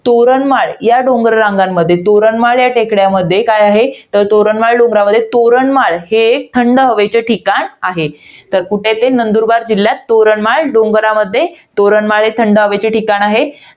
तोरणमाळ या डोंगर रंगांमध्ये, तोरणमाळ या टेकड्यांमध्ये काय आहे? तर तोरणमाळ डोंगरामध्ये तोरणमाळ हे एक थंड हवेचे ठिकाण आहे. तर कुठे आहे ते? नंदुरबार जिल्ह्यात, तोरणमाळ डोंगरामध्ये, तोरणमाळ हे थंड हवेचे ठिकाण आहे.